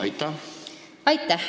Aitäh!